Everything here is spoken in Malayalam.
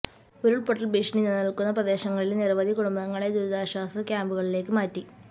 ഉരുള്പൊട്ടല് ഭീഷണി നിലനില്ക്കുന്ന പ്രദേശങ്ങളിലെ നിരവധി കുടുംബങ്ങളെ ദുരിതാശ്വാസ ക്യാംപുകളിലേക്ക് മാറ്റി